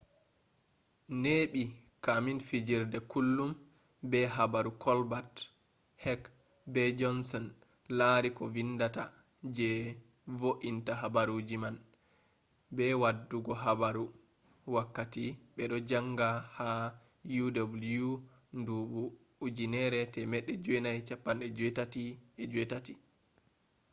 neɓi kamin fijirde kullum be habaru kolbat hek be jonson lari ko vindata je vointa habaruji man –be waddugo habaru—wakkati beɗo janga ha uw nduɓu 1988